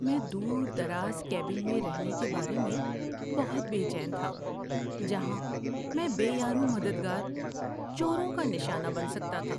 میں دور دراز کیبن میں رہنے کے بارے میں بہت بے چین تھا جہاں میں بے یار و مددگار چوروں کا نشانہ بن سکتا تھا۔